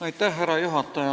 Härra juhataja!